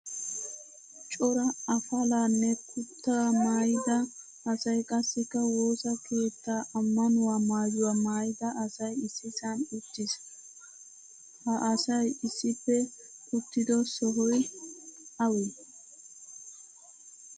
Cora afalanne kutta maayida asay qassika woosaa keettaa ammanuwaa maayuwaa maayida asay issisan uttiis. Ha asay issippe uttido sohoy awe?